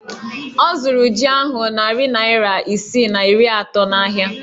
Ọ zụrụ jí ahụ narị naira isii na iri atọ n'ahịa